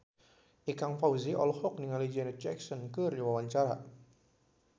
Ikang Fawzi olohok ningali Janet Jackson keur diwawancara